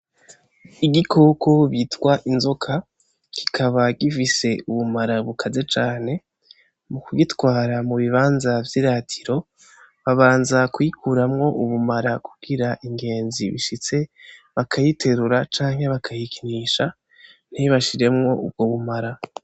Igikoko bitwa inzoka ,kikaba gifise ubumara bukara cane mukugitwara mubibanza vyiratiro babanza kuyikuramwo ubumara kugira ingenzi ishitse bakayiterura canke bakayikinisha ntibashiremwo ubwo bumara.